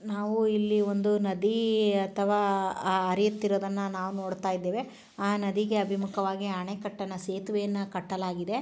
ನಾವು ಇಲ್ಲಿ ಒಂದು ನದಿ ಅಥವಾ ಹರಿವುತ್ತಿರುವುದನ್ನ ನಾವು ನೋಡತಾ ಇದೇವೆ ಆ ನದಿಗೆ ಅಭಿಮುಖವಾಗಿ ಆಣೆಕಟ್ಟನ್ನ ಸೇತುವೆಯನ್ನ ಕಟ್ಟಲಾಗಿದೆ .